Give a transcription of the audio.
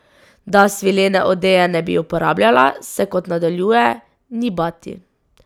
Da svilene odeje ne bi uporabljala, se, kot nadaljuje, ni bati.